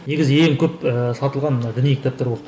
негізі ең көп ііі сатылған мына діни кітаптар болды